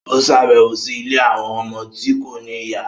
O ṣabẹwo sí ilé awọn ọmọ ti kò ní ìyá